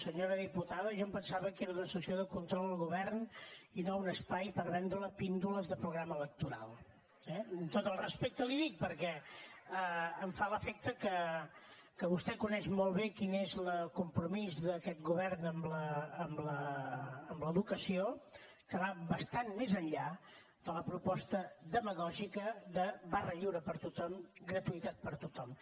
senyora diputada jo em pensava que era una sessió de control al govern i no un espai per vendre píndoles de programa electoral eh amb tot el respecte li ho dic perquè em fa l’efecte que vostè coneix molt bé quin és el compromís d’aquest govern amb l’educació que va bastant més enllà de la proposta demagògica de barra lliure per a tothom gratuïtat per a tothom